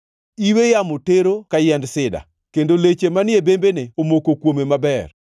Iwe yamo tero ka yiend sida; kendo leche manie bembene omoko kuome maber.